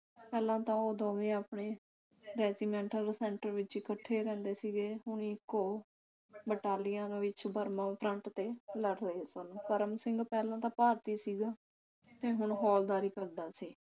ਪਹਿਲਾਂ ਤਾਂ ਉਹ ਦੋਵੇਂ ਆਪਣੇ ਰੈਜੀਮੈਂਟਲ ਸੈਂਟਰ ਵਿਚ ਇਕੱਠੇ ਰਹਿੰਦੇ ਸੀਗੇ ਹੁਣ ਇਕ ਬਟਾਲੀਅਨ ਵਿਚ ਬਰਮਾ ਫਰੰਟ ਤੇ ਲੜ ਰਹੇ ਸਨ ਕਰਮ ਸਿੰਘ ਪਹਿਲਾਂ ਦਾ ਭਰਤੀ ਸੀ ਤੇ ਹੁਣ ਹੌਲਦਾਰੀ ਕਰਦਾ ਸੀ